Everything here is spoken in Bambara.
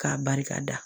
K'a barika da